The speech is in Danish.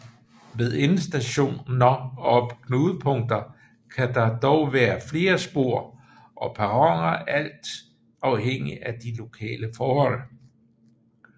Ved endestationer og knudepunkter kan der dog være flere spor og perroner alt afhængigt af de lokale forhold